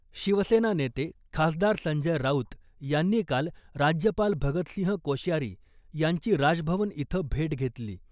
शिवसेना नेते खासदार संजय राऊत यांनी काल राज्यपाल भगतसिंह कोश्यारी यांची राजभवन इथं भेट घेतली .